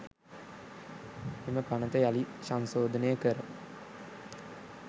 එම පනත යළිත් සංශෝධනය කර